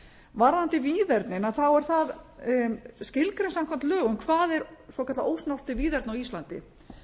varðandi víðernin þá er það skilgreint samkvæmt lögum hvað er svokallað ósnert víðerni á íslandi